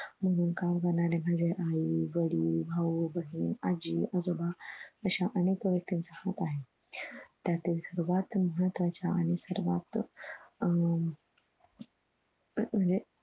माझे गाव मनाने भरलेले आहे म्हणजे आई, वडील, भाऊ, बहीण, आजी, आजोबा अश्या अनेक व्यक्तीनचा हात आहे. त्यात सर्वात महत्वाच्या आणि सर्वात आह म्हणजे